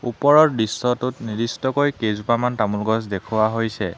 ওপৰৰ দৃশ্যটোত নিৰ্দিষ্টকৈ কেইজোপামান তামোল গছ দেখুওৱা হৈছে।